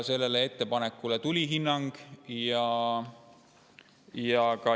Sellele ettepanekule tuligi hinnang.